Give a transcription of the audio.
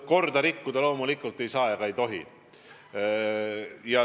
Korda rikkuda loomulikult ei tohi.